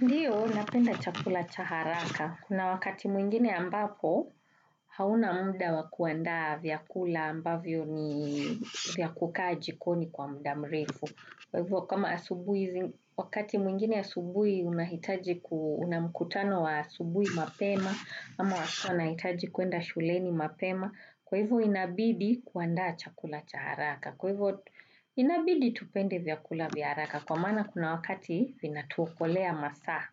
Ndiyo, napenda chakula cha haraka. Kuna wakati mwingine ambapo hauna muda wa kuandaa vyakula ambavyo ni vya kukaa jikoni kwa muda mrefu. Kwa hivyo kama asubuhi, wakati mwingine asubuhi unahitaji ku, una mkutano wa asubuhi mapema, ama watoto wanahitaji kuenda shuleni mapema. Kwa hivyo inabidi kuandaa chakula cha haraka. Kwa hivyo inabidi tupende vyakula vya haraka kwa maana kuna wakati vinatuokolea masaa.